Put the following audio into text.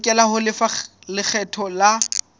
lokela ho lefa lekgetho la